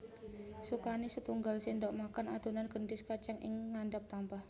Sukani setunggal sendok makan adhonan gendhis kacang ing ngandhap tampah